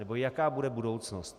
Nebo jaká bude budoucnost?